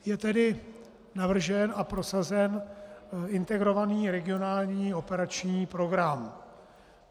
Je tedy navržen a prosazen Integrovaný regionální operační program.